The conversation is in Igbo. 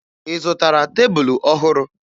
Ị zụtara tebulu ọhụrụ?